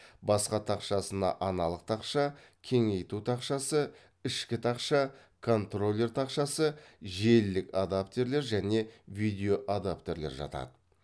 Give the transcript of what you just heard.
баспа тақшасына аналық тақша кеңейту тақшасы ішкі тақша контроллер тақшасы желілік адаптерлер және видеоадаптерлер жатады